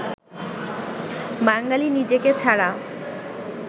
বাঙালি নিজেকে ছাড়া